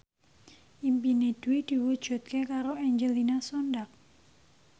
impine Dwi diwujudke karo Angelina Sondakh